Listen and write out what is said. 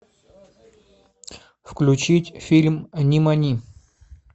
включить фильм нимани